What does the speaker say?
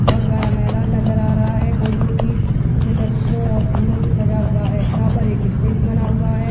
बहुत बड़ा मैदान नजर आ रहा है जोकि पीले पीले रंगों और फूल से सजा हुआ है यहां पर एक स्टेज बना हुआ है।